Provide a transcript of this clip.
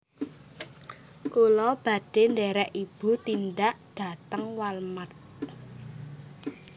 Kula badhe nderek ibu tindak dateng Wal mart